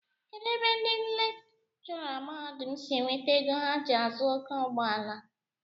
Kedụ ebe ndị lekchọra mahadum si enweta ego ha ji azụ oké ụgbọala?